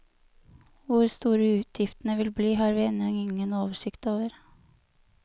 Hvor store utgiftene vil bli, har vi ennå ingen oversikt over.